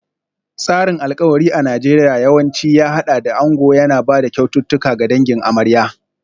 Tsarin alkawari a Najeriya yawanci ya haɗa da ango yana ba da kyaututtuka ga dangin amarya.